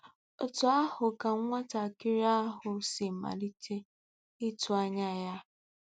Otú ahụ ka nwatakịrị ahụ si malite ịtụ anya ya.